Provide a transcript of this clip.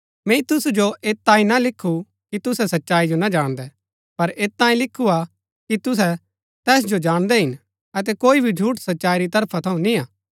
मैंई तुसु जो ऐत तांई ना लिखु कि तुसै सच्चाई जो ना जाणदै पर ऐत तांई लिखु हा कि तुहै तैस जो जाणदै हिन अतै कोई भी झूठ सच्चाई री तरफा थऊँ निआं